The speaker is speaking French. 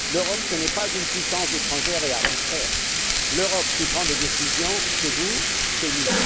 L'Europe n'est pas une puissance étrangère et arbitraire. L'Europe qui prend des décisions, c'est vous, c'est nous!